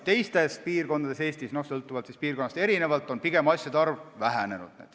Teisalt, mujal Eestis – sõltuvalt piirkonnast – on asjade arv pigem vähenenud.